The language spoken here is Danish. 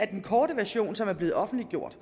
den korte version som er blevet offentliggjort